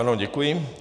Ano, děkuji.